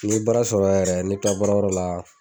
N'i ye baara sɔrɔ yɛrɛ n'i bi taa baarayɔrɔ la.